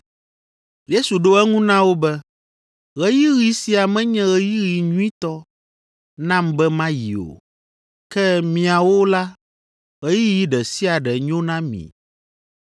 Yesu ɖo eŋu na wo be, “Ɣeyiɣi sia menye ɣeyiɣi nyuitɔ nam be mayi o, ke miawo la, ɣeyiɣi ɖe sia ɖe nyo na mi.